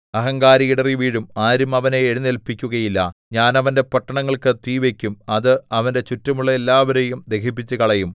അഹങ്കാരി ഇടറിവീഴും ആരും അവനെ എഴുന്നേല്പിക്കുകയില്ല ഞാൻ അവന്റെ പട്ടണങ്ങൾക്ക് തീ വയ്ക്കും അത് അവന്റെ ചുറ്റുമുള്ള എല്ലാവരെയും ദഹിപ്പിച്ചുകളയും